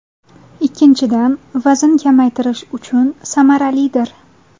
Ikkinchidan, vazn kamaytirish uchun samaralidir.